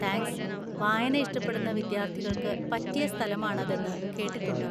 Thanks, വായന ഇഷ്ടപ്പെടുന്ന വിദ്യാർത്ഥികൾക്ക് പറ്റിയ സ്ഥലമാണ് അതെന്ന് കേട്ടിട്ടുണ്ട്.